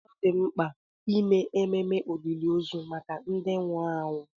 Ọ dị mkpa ime ememe olili ozu maka ndị nwụrụ anwụ.